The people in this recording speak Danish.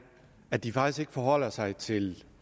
at de faktisk ikke forholder sig til